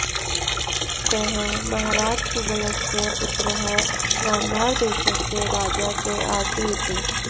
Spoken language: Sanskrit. सः महाराज सुबलस्य पुत्रः गान्धारदेशस्य राजा च आसीत्